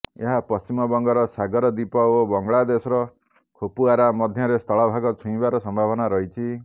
ଏହା ପଶ୍ଚିମବଙ୍ଗର ସାଗର ଦ୍ୱୀପ ଓ ବଙ୍ଗଳାଦେଶର ଖେପୁଆରା ମଧ୍ୟରେ ସ୍ଥଳଭାଗ ଛୁଇଁବାର ସମ୍ଭାବନା ରହିଛି